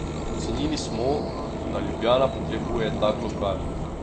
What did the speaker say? Ocenili smo, da Ljubljana potrebuje tak lokal.